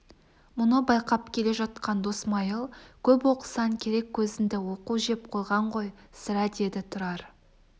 мұны байқап келе жатқан досмайыл көп оқысаң керек көзіңді оқу жеп қойған ғой сірә деді тұрар